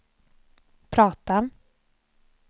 prata